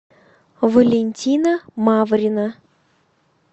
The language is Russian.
валентина маврина